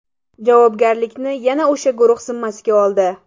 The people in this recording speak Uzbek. Javobgarlikni yana o‘sha guruh zimmasiga oldi.